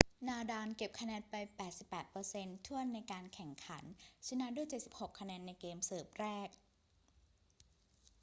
นาดาลเก็บคะแนนไป 88% ถ้วนในการแข่งขัน ชนะด้วย 76 คะแนนในเกมเสิร์ฟแรก